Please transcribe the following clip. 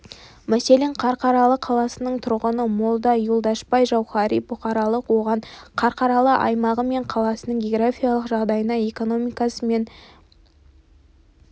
мәселен қарқаралы қаласының тұрғыны молда юлдашбай жауһари бұқаралық оған қарқаралы аймағы мен қаласының географиялық жағдайына экономикасы мен